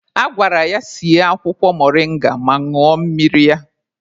A gwara ya sie akwụkwọ moringa ma ñụọ mmiri ya.